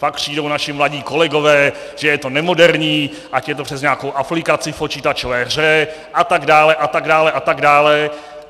Pak přijdou naši mladí kolegové, že je to nemoderní, ať je to přes nějakou aplikaci v počítačové hře atd. atd. atd.